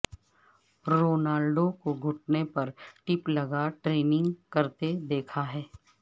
Ronaldo کو گھٹنے پر ٹیپ لگا ٹریننگ کرتے دیکھا گیا ہے